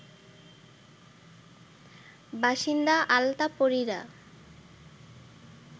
বাসিন্দা আলতাপরিরা